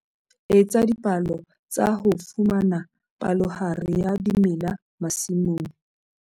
Etsa dipalo tsa ho fumana palohare ya dimela masimong.